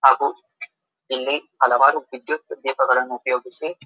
ಹಾಗು ಇಲ್ಲಿ ಹಲವಾರು ವಿದ್ಯುತ್ ದೀಪವನ್ನು ಉಪಯೋಗಿಸಿ --